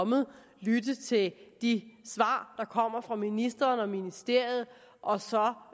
og lytte til de svar der kommer fra ministeren og ministeriet og så